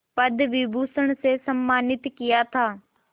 पद्म विभूषण से सम्मानित किया था